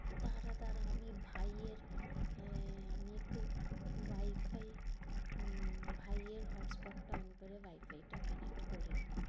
দ্বারা দ্বারা আমি ভাইয়ের আমি একটু wi-fi উম ভাইয়ের hotspot টা on করে wi-fi টা connect করে নি।